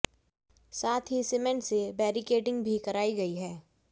साथ ही सीमेंट से बैरिकेडिंग भी कराई गई है